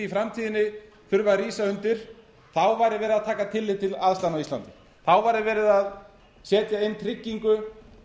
framtíðinni þurfa að rísa undir væri verið að taka tillit til aðstæðna á íslandi þá væri verið að setja inn tryggingu